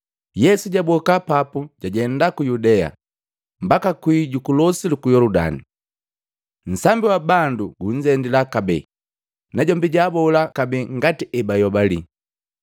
Yesu jaboka papu jajenda ku Yudea, mbaka kwii juku losi luku Yoludani. Nsambi wa bandu gunzendila kabee, najombi jaabola kabee ngati ebayobali.